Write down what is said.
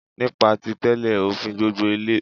Nípa tí tẹ́lé òfin gbogbo Ilẹ̀